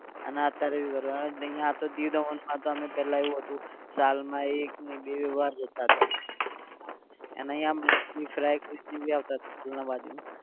અને અત્યારે આ તો દીવ દમણમાં તો અમે પહેલા એવું હતું સાલ માં એક ને બે વાર જતા હતા. અને અહીંયા મચ્છી Fry ખાય આવતા હતા બાજુમાં